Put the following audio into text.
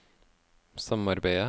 samarbeidet